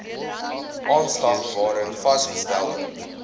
aanslag waarin vasgestelde